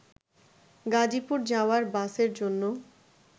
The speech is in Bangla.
গাজীপুর যাওয়ার বাসের জন্য